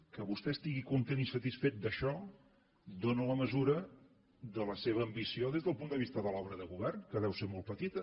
que vostè es·tigui content i satisfet d’això dóna la mesura de la seva ambició des del punt de vista de l’obra de govern que deu ser molt petita